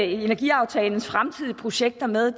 energiaftalens fremtidige projekter med